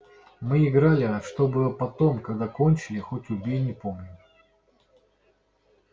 мы играли а что было потом когда кончили хоть убей не помню